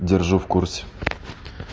держу в курсе